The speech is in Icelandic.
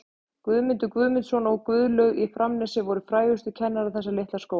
Guðmundur Guðmundsson og Guðlaug á Framnesi voru frægustu kennarar þessa litla skóla.